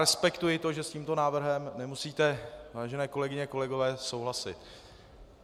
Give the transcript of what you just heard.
Respektuji to, že s tímto návrhem nemusíte, vážené kolegyně, kolegové, souhlasit.